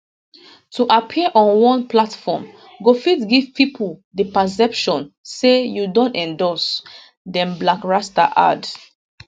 to appear on one platform go fit give pipo di perception say you don endorse dem blakk rasta add